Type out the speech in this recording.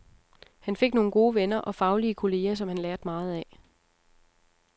Han fik nogle gode venner og faglige kolleger, som han lærte meget af.